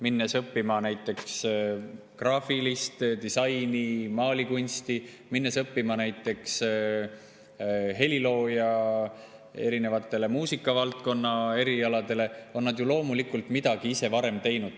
Minnes õppima näiteks graafilist disaini, maalikunsti, minnes õppima näiteks heliloojaks, erinevatele muusikavaldkonna erialadele, on nad ju loomulikult midagi ise varem teinud.